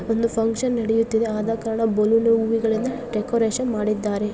ಒಂದು ಫಂಕ್ಷನ್ ನಡಿಯುತ್ತಿದೆ. ಆದಕಾರಣ ಬಲೂನು ಊಗಳಿಂದ ಡೆಕೋರೇಷನ್ ಮಾಡಿದ್ದಾರೆ.